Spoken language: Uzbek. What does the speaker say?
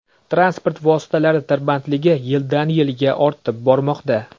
Transport vositalari tirbandligi yildan yilga ortib bormoqda.